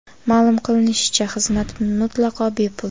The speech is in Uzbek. Ma’lum qilinishicha, xizmat mutlaqo bepul.